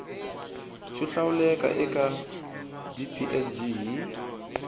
xo hlawuleka eka dplg hi